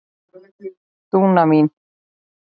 Dúna mín.